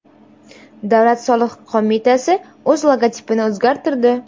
Davlat soliq qo‘mitasi o‘z logotipini o‘zgartirdi .